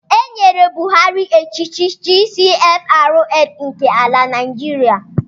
E nyere Buhari echichi GCFRN nke ala Naịjiria